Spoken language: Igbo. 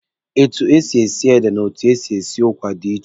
Etu e si esi ede na etu e si esi ụkwa dị iche.